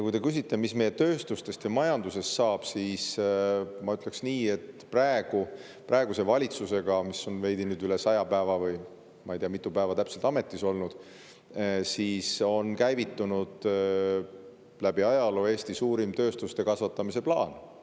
Kui te küsite, mis meie tööstusest ja majandusest saab, siis ma ütleks nii, et praegune valitsus, mis on nüüd veidi üle 100 päeva – ma ei tea, mitu päeva täpselt – ametis olnud, on käivitanud Eesti suurima tööstuse kasvatamise plaani läbi ajaloo.